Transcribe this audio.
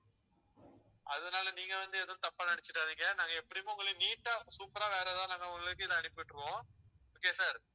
அதனால நீங்க வந்து எதுவும் தப்பா நினைச்சிடாதீங்க. நாங்க எப்படியும் உங்களை neat ஆ super ஆ வேற ஏதாவது உங்களுக்கு இதை அனுப்பி விட்டுருவோம் okay sir